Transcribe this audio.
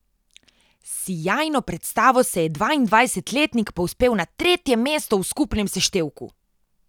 S sijajno predstavo se je dvaindvajsetletnik povzpel na tretje mesto v skupnem seštevku.